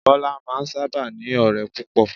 Bọ́lá máa n sáábà ní ọ̀rẹ́ púpọ̀